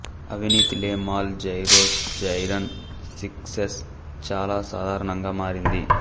అవినీతి లే మాల్ జైరోస్ జైరన్ సిక్నెస్ చాలా సాధారణంగా మారింది